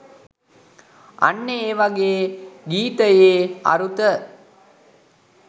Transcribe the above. අන්න ඒ වගේ ගීතයේ අරුත